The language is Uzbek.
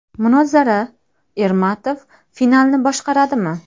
Munozara: Ermatov finalni boshqaradimi?.